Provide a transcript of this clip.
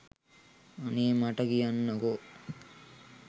අනේ මට කියන්නකෝ